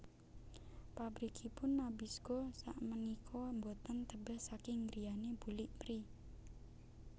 Pabrikipun Nabisco sakmenika mboten tebeh saking griyane bulik Pri